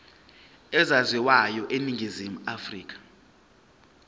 ezaziwayo eningizimu afrika